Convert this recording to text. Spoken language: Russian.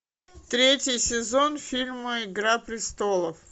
третий сезон фильма игра престолов